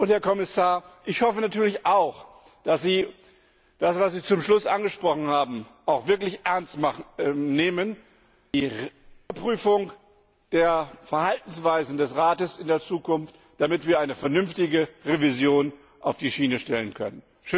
Herr Kommissar, ich hoffe natürlich auch, dass Sie das, was Sie zum Schluss angesprochen haben, wirklich ernst nehmen, die Überprüfung der Verhaltensweisen des Rats in der Zukunft, damit wir eine vernünftige Revision auf die Schiene stellen können.